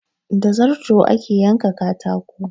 Da zarto ake yanka katako.